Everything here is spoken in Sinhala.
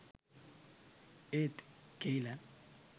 ඒත් කෙයිලන්